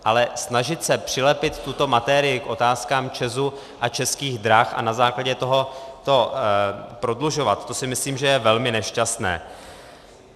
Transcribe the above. Ale snažit se přilepit tuto materii k otázkám ČEZu a Českých drah a na základě toho to prodlužovat, to si myslím, že je velmi nešťastné.